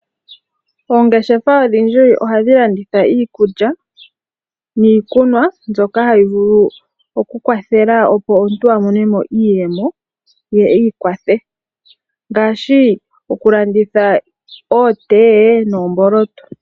Oongeshefa odhindji ohadhi landitha iikulya niikunwa mbyoka hayi vulu oku kwathela opo omuntu amonemo iiyemo ye iikwathe, ngaashi oku landitha okothiwa noomboloto.